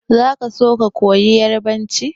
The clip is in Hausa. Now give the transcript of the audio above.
Za ka so ka koyi yarbanci?